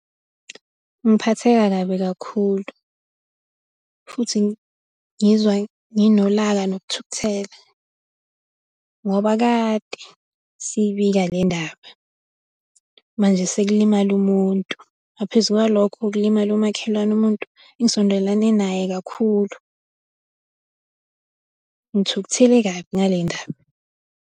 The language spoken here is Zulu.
Ngiphatheka kabi kakhulu futhi ngizwa nginolaka nokuthukuthela, ngoba kade siyibika le ndaba, manje sekulimale umuntu. Ngaphezu kwalokho kulimale umakhelwane umuntu engisondelane naye kakhulu. Ngithukuthele kabi ngale ndaba.